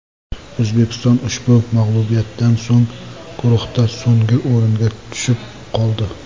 O‘zbekiston ushbu mag‘lubiyatdan so‘ng guruhda so‘nggi o‘ringa tushib qoldi.